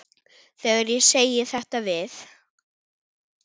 Þegar ég segi þetta við